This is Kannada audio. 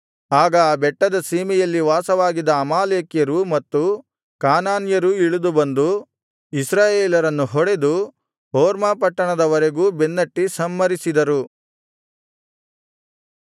ಆಗ ಆ ಬೆಟ್ಟದ ಸೀಮೆಯಲ್ಲಿ ವಾಸವಾಗಿದ್ದ ಅಮಾಲೇಕ್ಯರೂ ಮತ್ತು ಕಾನಾನ್ಯರೂ ಇಳಿದು ಬಂದು ಇಸ್ರಾಯೇಲರನ್ನು ಹೊಡೆದು ಹೊರ್ಮಾ ಪಟ್ಟಣದವರೆಗೂ ಬೆನ್ನಟ್ಟಿ ಸಂಹರಿಸಿದರು